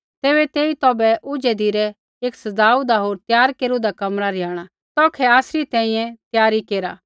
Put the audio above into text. तैबै तेई तौभै ऊझै धिरै एक सज़ाऊदा होर त्यार केरूदा कमरा रिहाणा तौखै आसरी तैंईंयैं त्यारी केरा